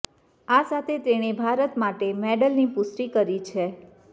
આ સાથે તેણે ભારત માટે મેડલની પુષ્ટિ કરી છે